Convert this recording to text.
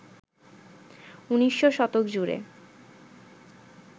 ১৯শ শতক জুড়ে